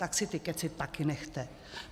Tak si ty kecy taky nechte!